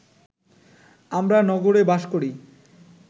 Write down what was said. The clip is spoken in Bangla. আমরা নগরে বাস করি